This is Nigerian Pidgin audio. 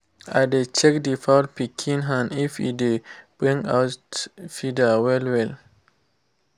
i dey check the fowl pikin hand if e dey bring out bring out feather well well